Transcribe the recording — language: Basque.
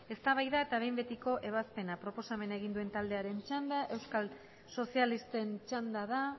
eztabaida eta behin betiko ebazpena proposamena egin duen taldearen txanda euskal sozialisten txanda da